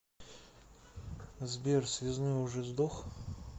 сбер связной уже сдох